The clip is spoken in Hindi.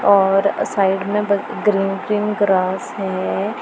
और साइड में ग्रीन ग्रीन ग्रास है।